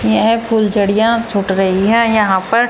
यह फूलझड़िया छूट रही है यहां पर--